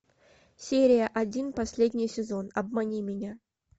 серия один последний сезон обмани меня